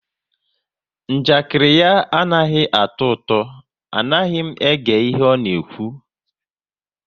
Njakiri ya anaghị atọ ụtọ, anaghị m ege ihe ọ na-ekwu